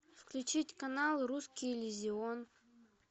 включить канал русский иллюзион